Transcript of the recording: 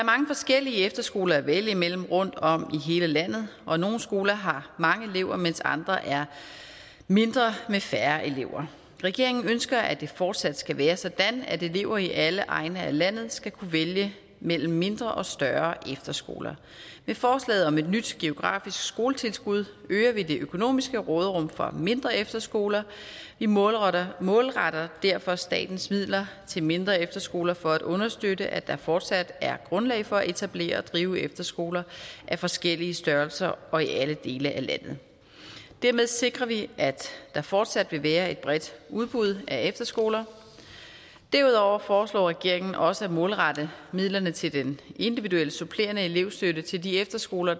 forskellige efterskoler at vælge imellem rundtom i hele landet og nogle skoler har mange elever mens andre er mindre med færre elever regeringen ønsker at det fortsat skal være sådan at elever i alle egne af landet skal kunne vælge mellem mindre og større efterskoler med forslaget om et nyt geografisk skoletilskud øger vi det økonomiske råderum for mindre efterskoler vi målretter målretter derfor statens midler til mindre efterskoler for at understøtte at der fortsat er grundlag for at etablere og drive efterskoler af forskellige størrelser og i alle dele af landet dermed sikrer vi at der fortsat vil være et bredt udbud af efterskoler derudover foreslår regeringen også at målrette midlerne til den individuelle supplerende elevstøtte til de efterskoler